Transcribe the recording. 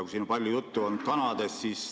Siin on palju juttu olnud kanadest.